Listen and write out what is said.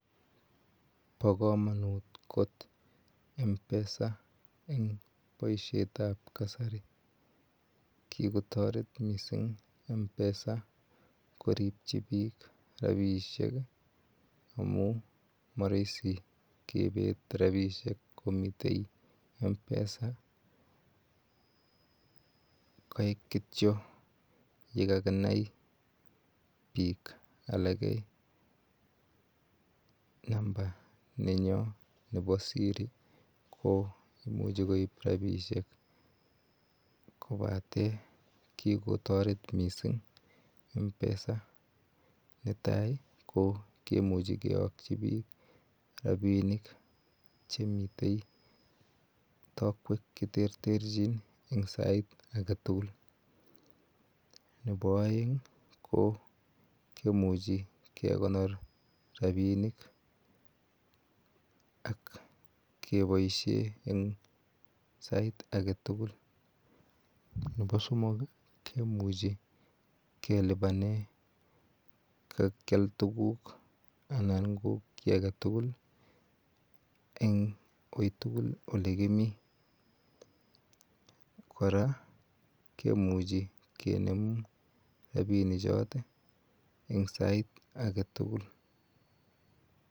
Bokomonut kot mpesa en boishetab kasari kikotoret mising mpesa koribchi biik rabishek amun moroisi kebet rabishek yomiten mpesa, koik kitio yekakinai biik alak namba nenyo nebo siri ko imuche koib rabishek kobaten kikotoret mising mpesa, netai ko kimuchi kiyokyi biik rabinik chemiten taokwek che terterchin en sait aketukul, nebo oeng kimuchi kekonor rabinik ak keboishen eng sait aketukul nebo somok kimuchi kelibanen kakial tukuk anan ko kii aketukul eng uitukul olekimi, kora kimuchi kinem rabini chotet eng sait aketukul.